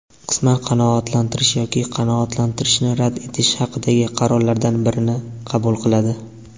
qisman qanoatlantirish yoki qanoatlantirishni rad etish haqidagi qarorlardan birini qabul qiladi.